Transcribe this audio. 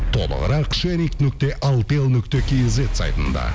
толығырақ шеринг нүкте алтел нүкте кизет сайтында